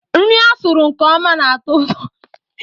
Nri a sụrụ nke ọma na-atọ ụtọ.